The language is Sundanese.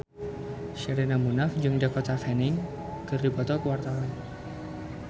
Sherina Munaf jeung Dakota Fanning keur dipoto ku wartawan